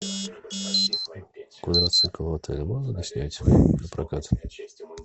квадроцикл в отеле можно снять напрокат